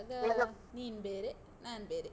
ಈವಾಗ, ನೀನ್ ಬೇರೆ, ನಾನ್ ಬೇರೆ.